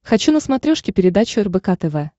хочу на смотрешке передачу рбк тв